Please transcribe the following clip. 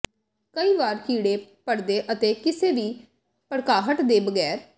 ਕਈ ਵਾਰ ਕੀੜੇ ਪਾੜਦੇ ਅਤੇ ਕਿਸੇ ਵੀ ਭੜਕਾਹਟ ਦੇ ਬਗੈਰ